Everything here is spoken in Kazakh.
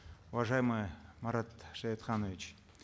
уважаемый марат шаятханович